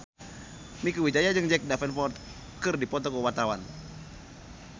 Mieke Wijaya jeung Jack Davenport keur dipoto ku wartawan